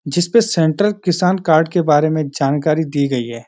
जिसपे सेंट्रल किसान कार्ड के बारे में जानकारी दी गई है।